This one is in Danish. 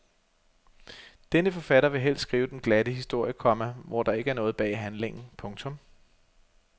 Denne forfatter vil helst skrive den glatte historie, komma hvor der ikke er noget bag handlingen. punktum